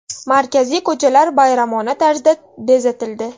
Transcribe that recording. Markaziy ko‘chalar bayramona tarzda bezatildi.